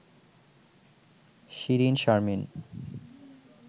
Shirin Sharmin